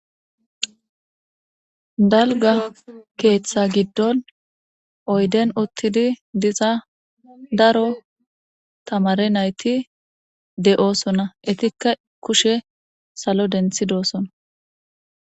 Dalgga keththa giddon oydden uttidi diza daro tamare nayti de'ossona.ittika kuushshe salo denttidossona.